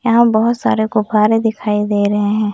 यहां बहुत सारे गुब्बारे दिखाई दे रहे हैं।